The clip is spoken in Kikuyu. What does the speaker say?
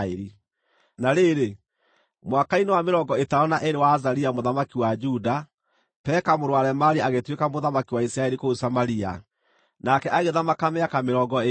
Na rĩrĩ, mwaka-inĩ wa mĩrongo ĩtano na ĩĩrĩ wa Azaria mũthamaki wa Juda, Peka mũrũ wa Remalia agĩtuĩka mũthamaki wa Isiraeli kũu Samaria, nake agĩthamaka mĩaka mĩrongo ĩĩrĩ.